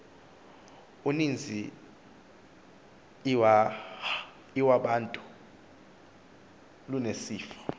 uninzi iwabantu lunesifo